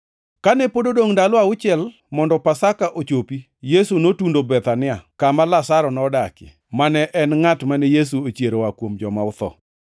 Kane pod odongʼ ndalo auchiel mondo Pasaka ochopi, Yesu notundo Bethania, kama Lazaro nodakie, mane en ngʼat mane Yesu ochiero oa kuom joma otho.